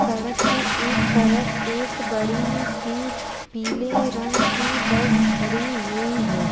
सड़क के एक तरफ एक बड़ी सी पीले रंग की बस खड़ी हुई है।